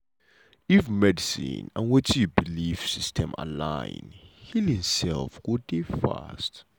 if medicine and wetin you belief system align healing um go dey fast.